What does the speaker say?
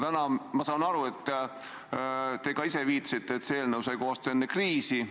Täna te ka ise viitasite, et see eelnõu sai koostatud enne kriisi.